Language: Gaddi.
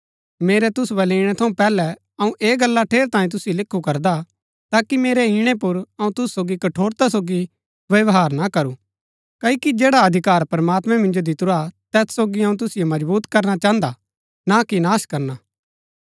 मेरै तुसु बलै इणै थऊँ पैहलै अऊँ ऐह गल्ला ठेरैतांये तुसिओ लिखु करदा हा ताकि मेरै इणै पुर अऊँ तुसु सोगी कठोरता सोगी व्यवहार ना करू क्ओकि जैड़ा अधिकार प्रमात्मैं मिन्जो दितुरा हा तैत सोगी अऊँ तुसिओ मजबुत करना चाहन्दा हा ना कि नाश करना